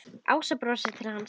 Ása brosir til hans.